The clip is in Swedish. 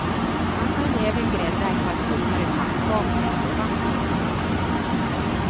Man kan även grädda ett par tunnare pannkakor ovanpå spisen.